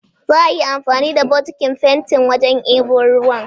Za'a yi anfani da bokitin fentin wajen ɗebo ruwa.